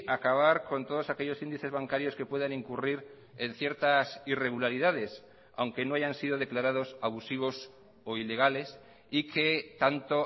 acabar con todos aquellos índices bancarios que puedan incurrir en ciertas irregularidades aunque no hayan sido declarados abusivos o ilegales y que tanto